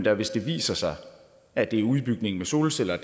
at hvis det viser sig at det er udbygningen med solceller